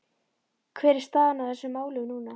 Hver er staðan á þessum málum núna?